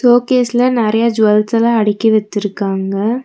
Show கேஸ்ல நறைய ஜெவல்ஸ்லா அடிக்கி வச்சிருக்காங்க.